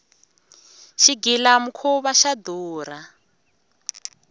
xigila mukhuva xa durha